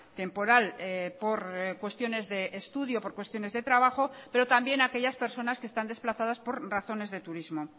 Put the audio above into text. temporal por cuestiones de estudio o por cuestiones de trabajo pero también aquellas personas que están desplazadas por razones de turismo